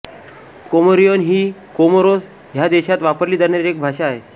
Comorian ही Comoros ह्या देशात वापरली जाणारी एक भाषा आहे